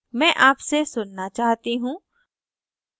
मैं आपसे सुन्ना चाहती हूँ